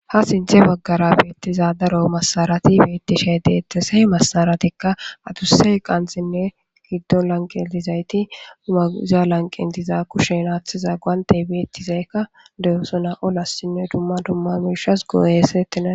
ha sinthe baggara beettiza daro masarati beettishe deettese masaratikka adussey qansinne giddo lanqetizayti dumaza lanqentiza kushen aaththiza guaantey beettizeykka dehosona olassinne dumma dumma miishas gooyesettina